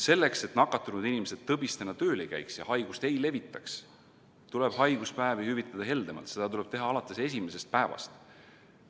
Selleks, et nakatunud inimesed tõbistena tööl ei käiks ja haigust ei levitaks, tuleb haiguspäevi hüvitada heldemalt, seda tuleb teha alates esimesest päevast.